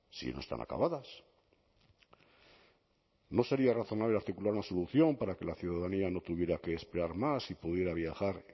si no están acabadas no sería razonable articular una solución para que la ciudadanía no tuviera que esperar más y pudiera viajar